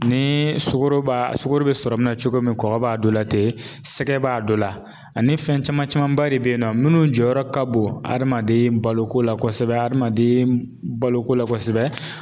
Ni sugoro b'a sugɔro bi sɔrɔ mina cogo min kɔkɔ b'a dɔ la ten, sɛgɛ b'a dɔ la ani fɛn caman camanba de be yen nɔ, minnu jɔyɔrɔ ka bon adamaden baloko la kosɛbɛ, adamaden baloko la kosɛbɛ